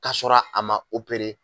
K'a sɔrɔ a ma opere